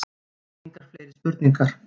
Engar fleiri spurningar.